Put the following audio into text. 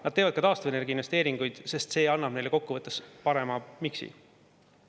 Nad teevad ka taastuvenergia investeeringuid, sest see annab neile kokkuvõttes parema miksi.